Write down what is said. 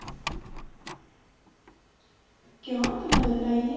ਕਿਉ ਤੂੰ ਨਜ਼ਰ ਲਾਈਏ